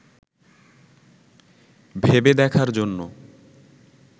ভেবে দেখার জন্য